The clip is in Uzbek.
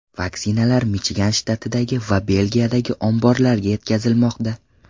Vaksinalar Michigan shtatidagi va Belgiyadagi omborlarga yetkazilmoqda.